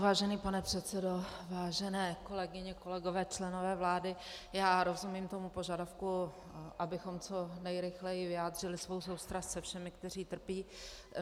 Vážený pane předsedo, vážené kolegyně, kolegové, členové vlády, já rozumím tomu požadavku, abychom co nejrychleji vyjádřili svou soustrast se všemi, kteří trpí.